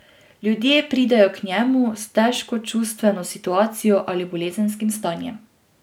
Ljudje pridejo k njemu s težko čustveno situacijo ali bolezenskim stanjem.